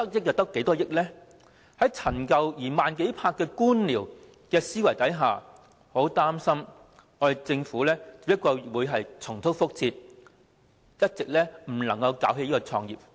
在既陳舊又慢熱的官僚思維下，我很擔心政府只會重蹈覆轍，始終無法搞起創科發展。